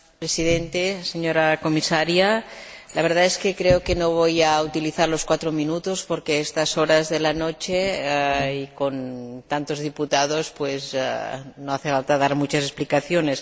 Señora Presidenta, señora Comisaria, la verdad es que creo que no voy a utilizar los cuatro minutos, porque a estas horas de la noche y con tantos diputados, no hace falta dar muchas explicaciones.